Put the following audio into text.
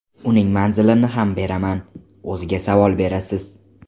Uning manzilini ham beraman, o‘ziga savol berasiz.